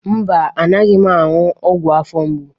Mba, anaghị m aṅụ ọgwụ afọ mgbu.